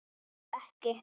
Farðu ekki.